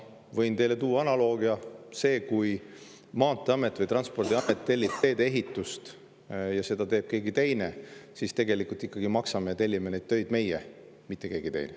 Võin teile tuua analoogia: kui Transpordiamet tellib teedeehitust ja seda teeb keegi teine, siis tegelikult ikkagi maksame ja tellime neid töid meie, mitte keegi teine.